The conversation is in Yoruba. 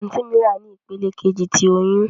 Anti mi wa ni ipele keji ti oyun.